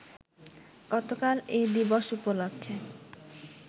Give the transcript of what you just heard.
গতকাল এ দিবস উপলক্ষে